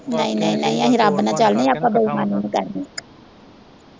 ਨਹੀਂ ਨਹੀਂ ਅਸੀਂ ਰੱਬ ਨਾਲ ਚਲਨੇ ਆਪਾਂ ਬੇਈਮਾਨੀ ਨੀ ਕਰਨੀ।